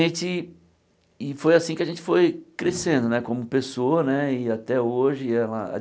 E foi assim que a gente foi crescendo né, como pessoa né, e até hoje ela.